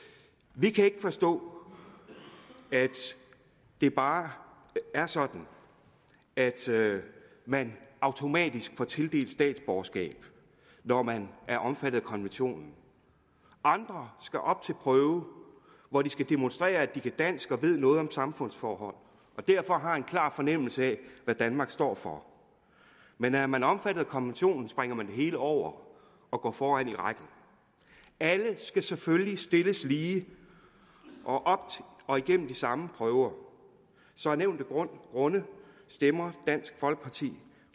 vi kan ikke forstå at det bare er sådan at man automatisk får tildelt statsborgerskab når man er omfattet af konventionen andre skal op til prøve hvor de skal demonstrere at de kan dansk og ved noget om samfundsforhold og derfor har en klar fornemmelse af hvad danmark står for men er man omfattet af konventionen springer man det hele over og går foran i rækken alle skal selvfølgelig stilles lige og og igennem de samme prøver så af nævnte grunde stemmer dansk folkeparti